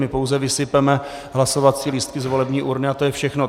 My pouze vysypeme hlasovací lístky z volební urny a to je všechno.